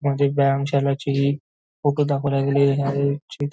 मध्ये व्यायाम शालाचे फोटो दाखवल्या गेले आहे जिथं--